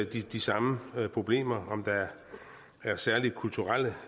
de samme problemer om der er særlige kulturelle